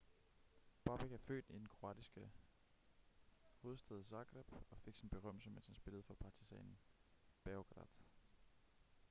bobek er født i den kroatiske hovedstad zagreb og fik sin berømmelse mens han spillede for partizan beograd